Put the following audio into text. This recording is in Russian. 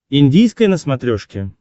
индийское на смотрешке